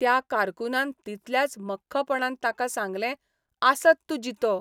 त्या कारकूनान तितल्याच मख्खपणान ताका सांगलें आसत तूं जितो.